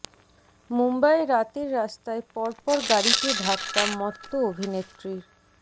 মুম্বইয়ে রাতের রাস্তায় পর পর গাড়িতে ধাক্কা মত্ত অভিনেত্রীর